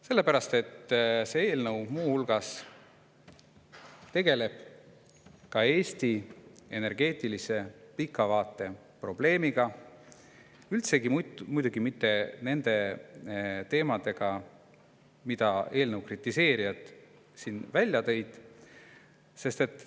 Sellepärast et see eelnõu tegeleb muu hulgas ka Eesti energeetilise pika vaate probleemiga, üldsegi mitte muidugi nende teemadega, mida eelnõu kritiseerijad siin välja tõid.